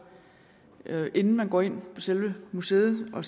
inden man går ind på selve museet og